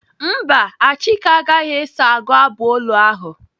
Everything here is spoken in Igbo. Mba, Achike agaghị eso agụ abụ olu ahụ.